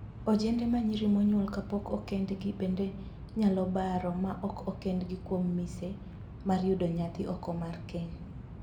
Ojende ma nyiri manyuol kapok okendgi bende nyalo baro ma ok okendi kuom mise mar yudo nyathi oko mar keny.